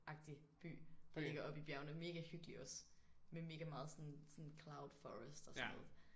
Agtig by der ligger oppe i bjergene mega hyggelig også med mega meget sådan sådan cloud forest og sådan noget